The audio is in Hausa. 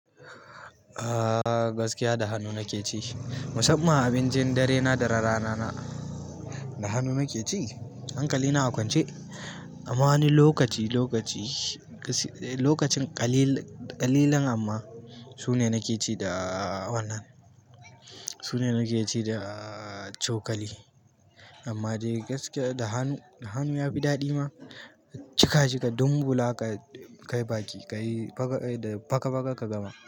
Ah. Gaskiya da hannu nake ci, musamman abincin darena da rana rana da hannu nake ci. Hankali na a kwance amma wani lokaci lokaci, lokacin ƙalilan amma sune nake ci da wannan, sune nake ci da cokali. Amma dai gaskiya da hannu, da hannu yafi daɗi ma cika cika dunbula ka kai baki, ka yi faka faka ka gama.